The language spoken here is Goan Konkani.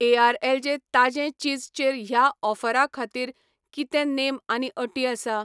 एआरएलए ताजें चीज चेर ह्या ऑफरा खातीर कितें नेम आनी अटी आसा ?